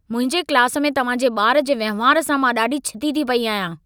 मुंहिंजे क्लासु में तव्हां जे ॿारु जे वंहिंवार सां मां ॾाढी छिती थी पई आहियां।